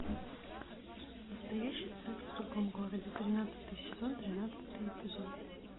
настоящий секс в другом городе тринадцатый сезон тринадцатый эпизод